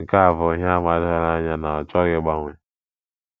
Nke a bụ ihe àmà doro anya na ọ chọghị ịgbanwe.